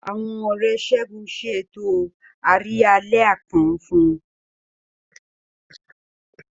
Àwọn Ọ̀rẹ́ Segun ṣe ètò àríyá àlẹ́ àpọ́n fún un.